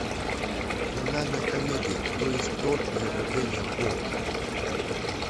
криминальная комедия кто есть кто или ограбление по